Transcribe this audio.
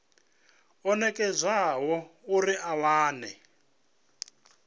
o nekedzwaho uri a wane